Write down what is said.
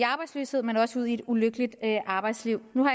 arbejdsløshed men også til et ulykkeligt arbejdsliv nu